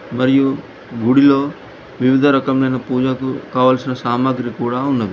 మరియు గుడిలో వివిధ రకములైన పూజకు కావలసిన సామాగ్రి కూడా ఉన్నది.